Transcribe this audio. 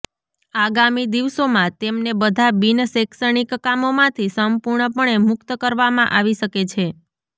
આગામી દિવસોમાં તેમને બધા બિન શૈક્ષણીક કામોમાંથી સંપૂર્ણ પણે મુકત કરવામાં આવી શકે છે